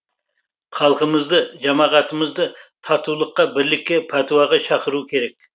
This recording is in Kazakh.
халқымызды жамағатымызды татулыққа бірлікке пәтуаға шақыру керек